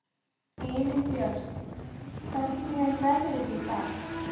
Elínbjört, hvernig er veðrið í dag?